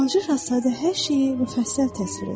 Balaca şahzadə hər şeyi müfəssəl təsvir etdi.